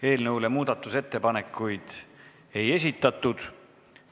Eelnõu kohta muudatusettepanekuid ei esitatud.